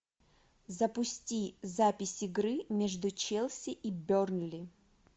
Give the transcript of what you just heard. запусти запись игры между челси и бернли